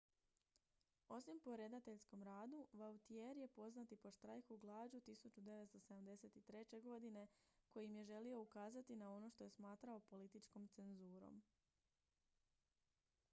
osim po redateljskom radu vautier je poznat i po štrajku glađu 1973. godine kojim je želio ukazati na ono što je smatrao političkom cenzurom